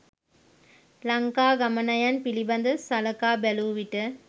ලංකා ගමනයන් පිළිබඳ සලකා බැලූ විට